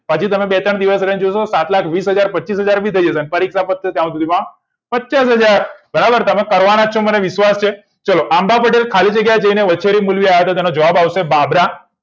હજુ તમે બે ત્રણ દિવસ રહીને જોશો સાત લાખ વીસ હજાર પચીસ હજાર થઇ જશે પરીક્ષા પતશે ત્યાં સુધી તો પચાસ હજાર બરાબર તમે કરવાના જ છો મને વિશ્વાસ છે ચલો આંબા પટેલ ખાલી જગ્યા જઈને વસેરી મુલવી આવ્યા હતા તો એનો જવાબ આવશે બાબરા